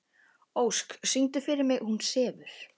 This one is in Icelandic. Ósk, syngdu fyrir mig „Hún sefur“.